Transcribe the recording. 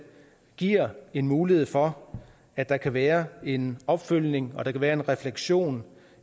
giver en mulighed for at der kan være en opfølgning og at der kan være en refleksion